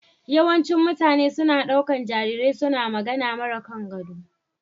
Yawancin mutane suna ɗaukar jarirai suna magana mara kangado.